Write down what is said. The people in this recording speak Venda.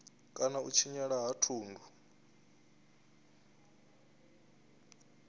kana u tshinyala ha thundu